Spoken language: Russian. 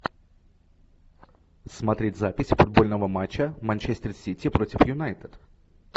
смотреть запись футбольного матча манчестер сити против юнайтед